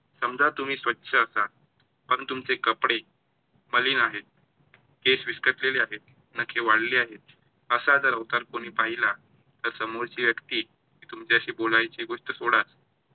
समजा तुम्ही स्वच्छ असाल, पण तुमचे कपडे मलीन आहेत, केस विस्कटलेले आहेत, नखे वाढलेले आहेत. असा जर अवतार कोणी पाहिला, तर समोरची व्यक्ती तुमच्याशी बोलायची गोष्ट सोडा,